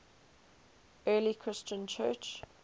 early christian church